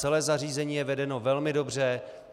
Celé zařízení je vedeno velmi dobře.